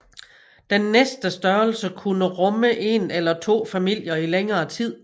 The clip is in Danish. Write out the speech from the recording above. Den næste størrelse kunne rumme en eller to familier i længere tid